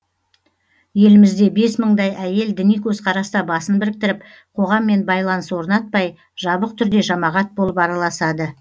елімізде бес мыңдай әйел діни көзқараста басын біріктіріп қоғаммен байланыс орнатпай жабық түрде жамағат болып араласады